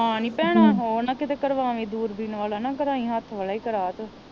ਹਾਂ ਨੀ ਭੈਣਾਂ ਉਹ ਨਾ ਕੀਤੇ ਕਰਵਾਵੀ ਦੂਰਬੀਨ ਵਾਲਾ ਨਾ ਕਰਾਈ ਹੱਥ ਵਾਲਾ ਹੀ ਕਰਵਾਂ ਤੂੰ